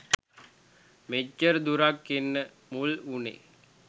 මෙච්චර දුරක් එන්න මුල් වුනේ